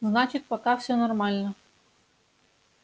значит пока всё нормально